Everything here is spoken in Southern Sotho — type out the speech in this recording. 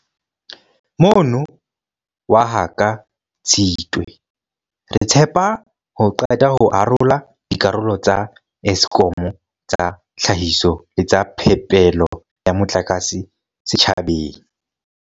Mono waha ka Tshitwe, re tshepa ho qeta ho arola dikarolo tsa Eskom tsa tlhahiso le tsa phepelo ya motlakase setjhabeng.